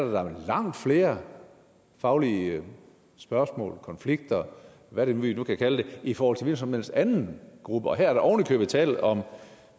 langt flere faglige spørgsmål konflikter hvad vi nu kan kalde det i forhold til en hvilken som helst anden gruppe og her er der ovenikøbet tale om